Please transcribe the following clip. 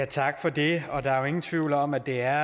tak for det der er jo ingen tvivl om at det er